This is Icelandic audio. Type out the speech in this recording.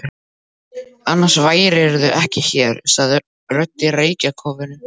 Annars værirðu ekki hér, sagði rödd í reykjarkófinu.